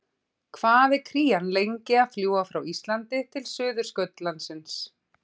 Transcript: Hvað er krían lengi að fljúga frá Íslandi til Suðurskautslandsins?